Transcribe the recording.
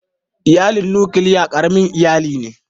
Iyalin nukiliya ƙaramin iyali ne.